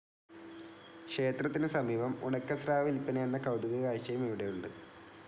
ക്ഷേത്രത്തിന് സമീപം ഉണക്കസ്രാവ് വില്പനയെന്ന കൗതുക കാഴ്ചയും ഇവിടെയുണ്ട്.